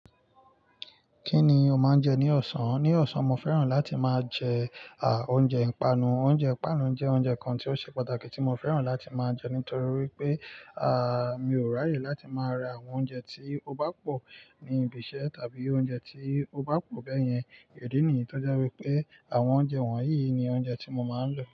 Kí ni o máa ń jẹ ní ọ̀sán? Ní ọ̀sán, mo fẹ́ràn láti máa jẹ, à, oúnjẹ ìpanu. Oúnjẹ ìpanu jẹ́ oúnjẹ kan tí ó ṣe pàtàkì tí mo fẹ́ràn láti máa jẹ nítorí wípé, à, mi ò ráyè láti máa ra àwọn oúnjẹ tí ó bá pọ̀ ní ibi iṣẹ́ tàbí oúnjẹ tí ó bá pọ̀ bẹ́yẹn. Ẹ̀dínìí tó já pé pé àwọn oúnjẹ wọ̀nyí ni oúnjẹ tí mo máa ń lò.